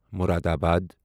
Moradabad